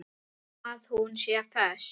Að hún sé föst.